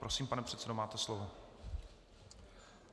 Prosím, pane předsedo, máte slovo.